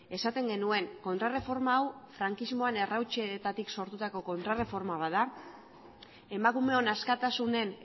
esaten genuen kontraerreforma hau frankismoan errautsetatik sortutako kontraerreforma bat da emakumeon askatasunen